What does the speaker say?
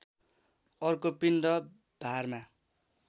अर्को पिण्ड भारमा